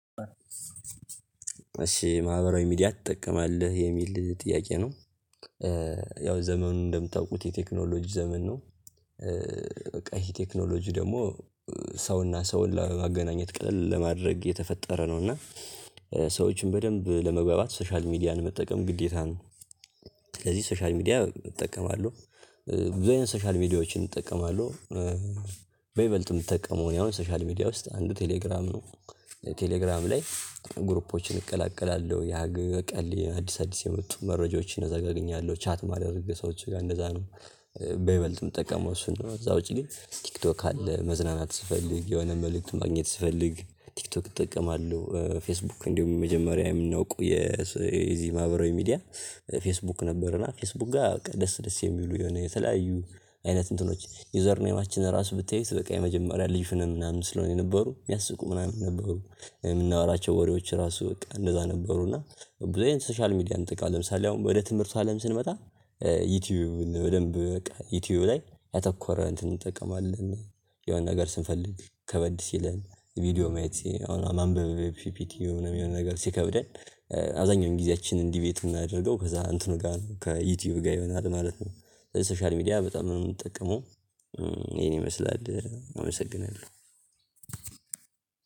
እሺ ማህበራዊ ሚዲያ ትጠቀማለህ የሚል ጥያቄ ነው? ያው ዘመኑን እንደምታውቁት የቴክኖሎጂ ዘመን ነው። በቃ ይሄ ቴክኖሎጂ ደግሞ ሰውና ሰውን ለማገናኘት ቀልል ለማድረግ የተፈጠረ ነው እና ሰዎችን በደንብ ለመግባባት ሶሻል ሚዲያን መጠቀም ግዴታ ነው። ስለዚህ ሶሻል ሚዲያ እጠቀማለሁ። ብዙ የሆነ ሶሻል ሚዲያዎችን እጠቀማለሁ በይበልጥም የምጠቀመው እኔ አሁን ሶሻል ሚዲያ ውስጥ አንዱ ቴሌግራም ነው። ቴሌግራም ላይ ግሩፖችን እቀላቀላለሁ ያ ቀል አዲስ አዲስ የመጡ መረጃዎችን አገኛለሁ ቻት ማድረግ ሰዎች ጋር እንደዛ ነው። በይበልጥም ምጠቀመው እሱን ነው እዛ ውጪ ላይ ቲክቶክ አለ መዝናናት ስፈልግ የሆነ መልእክትን ማግኘት ስፈልግ ቲክቶክ እጠቀማለሁ። ፌስቡክ እንዲሁም የመጀመሪያ የምናውቀው የዚህ ማህበራዊ ሚዲያ ፌስቡክ ነበር። እና ፌስቡክ ጋር ደስ ደስ የሚሉ የሆነ የተለያዩ አይነት እንትኖች ዩዘር ኔሞችን ራሱ ብታዩት በቃ የመጀመሪያ ልጅ ፍነስ ምናምን ስለሆነ የነበሩ የሚያስቁ ምናምን ነበሩ። የምናወራቸው ወሬዎች ራሱ በቃ እንደዛ ነበሩ እና ብዙ ሶሻል ሚዲያ ለምሳሌ አሁን ወደ ትምህርቱ አለም ስንመጣ። ዩቲዩብ በደንብ በቃ ዩቲዩበር ላይ ያተኮረ እንትን እንጠቀማለን የሆነ ነገር ስንፈልግ ከበድ ሲለን ቪዲዮ ማየት ማንበብ ፒፒቲው ምናምን የሆነ ነገር ሲከብደን። አብዛኛውን ጊዜያችንን ዲቤት የምናደርገው ከዛ እንትኑ ጋር ነው ከዩቲዩብ ጋር ይሆናል ማለት ነው። ሶሻል ሚዲያ በጣም ነው የምጠቀመው። ይሄን ይመስላል አመሰግናለሁ።